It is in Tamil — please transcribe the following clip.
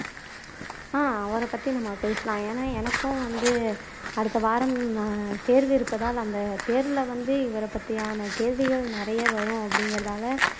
ஆஹ் அவரைப்பத்தி நம்ம பேசலாம் ஏன்னா எனக்கும் வந்து அடுத்தவாரம் தேர்வு இருப்பதால் அந்த தேர்வுல வந்து இவரைப்பத்தியான கேள்விகள் நிறைய வரும் அப்படிங்கிறதால